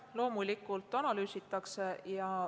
Jah, loomulikult analüüsitakse.